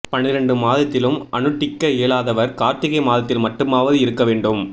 பன்னிரெண்டு மாதத்திலும் அனுட்டிக்க இயலாதவர் கார்த்திகை மாதத்தில் மட்டுமாவது இருக்க வேண்டும்